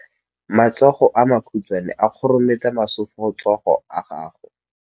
Matsogo a makhutshwane a khurumetsa masufutsogo a gago.